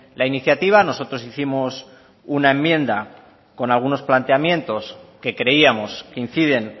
la iniciativa nosotros hicimos una enmienda con algunos planteamientos que creíamos que inciden